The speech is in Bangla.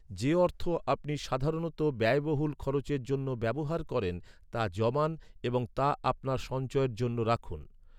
যে অর্থ আপনি সাধারণত ব্যয়বহুল খরচের জন্য ব্যবহার করেন, তা জমান এবং তা আপনার সঞ্চয়ের জন্য রাখুন।